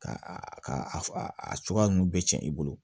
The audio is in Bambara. Ka a a cogoya ninnu bɛɛ cɛn i bolo